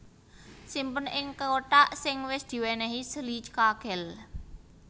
Simpen ing kothak sing wis diwènèhi silica gel